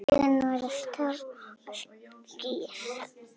Augun voru stór og skýr.